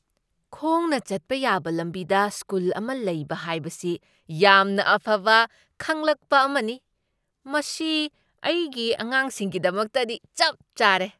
ꯈꯣꯡꯅ ꯆꯠꯄ ꯌꯥꯕ ꯂꯝꯕꯤꯗ ꯁ꯭ꯀꯨꯜ ꯑꯃ ꯂꯩꯕ ꯍꯥꯏꯕꯁꯤ ꯌꯥꯝꯅ ꯑꯐꯕ ꯈꯪꯂꯛꯄ ꯑꯃꯅꯤ꯫ ꯃꯁꯤ ꯑꯩꯒꯤ ꯑꯉꯥꯡꯁꯤꯡꯒꯤꯗꯃꯛꯇꯗꯤ ꯆꯞ ꯆꯥꯔꯦ꯫